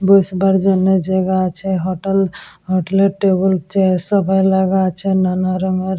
বসবার জন্য জায়গা আছে হোটেল হোটেল -এ টেবিল চেয়ার সবাই লাগা আছে নানা রঙের--